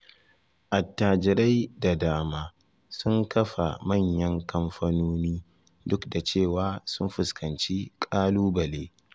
Attajirai da dama sun kafa manyan kamfanoni, duk da cewa sun fuskanci ƙalubale.